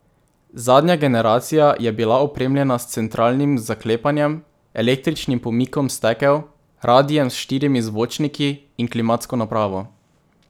Zadnja generacija je bila opremljena s centralnim zaklepanjem, električnim pomikom stekel, radiem s štirimi zvočniki in klimatsko napravo.